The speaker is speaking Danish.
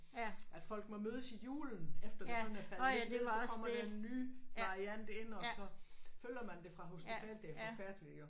At folk må mødes i julen efter det sådan er faldet lidt ned så kommer den nye variant ind og så følger man det fra hospitalet det er forfærdeligt jo